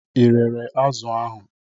Ị rere azụ̀ ahụ?